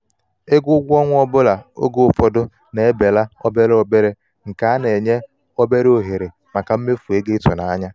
ego ụgwọ um ọnwa oge um ụfọdụ na-ebelala obere obere nke na-enye obere ohere maka mmefu ego ịtụnanya.